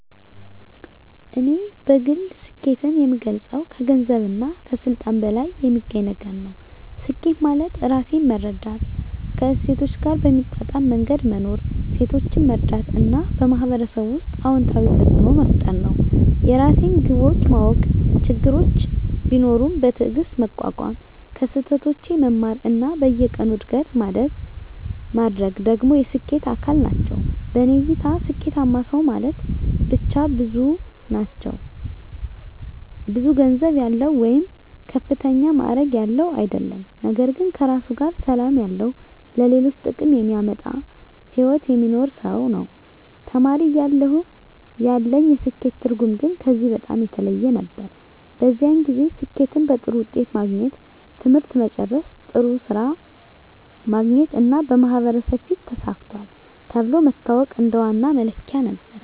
እኔ በግል ስኬትን የምገልጸው ከገንዘብና ከስልጣን በላይ የሚገኝ ነገር ነው። ስኬት ማለት ራሴን መረዳት፣ ከእሴቶቼ ጋር በሚጣጣም መንገድ መኖር፣ ሌሎችን መርዳት እና በማህበረሰብ ውስጥ አዎንታዊ ተፅዕኖ መፍጠር ነው። የራሴን ግቦች ማወቅ፣ ችግሮችን ቢኖሩም በትዕግስት መቋቋም፣ ከስህተቶቼ መማር እና በየቀኑ እድገት ማድረግ ደግሞ የስኬት አካል ናቸው። በእኔ እይታ ስኬታማ ሰው ማለት ብቻ ብዙ ገንዘብ ያለው ወይም ከፍተኛ ማዕረግ ያለው አይደለም፤ ነገር ግን ከራሱ ጋር ሰላም ያለው፣ ለሌሎች ጥቅም የሚያመጣ ሕይወት የሚኖር ሰው ነው። ተማሪ እያለሁ ያለኝ የስኬት ትርጉም ግን ከዚህ በጣም የተለየ ነበር። በዚያን ጊዜ ስኬትን በጥሩ ውጤት ማግኘት፣ ትምህርት መጨረስ፣ ጥሩ ሥራ ማግኘት እና በማህበረሰብ ፊት “ተሳክቷል” ተብሎ መታወቅ እንደ ዋና መለኪያ ነበር።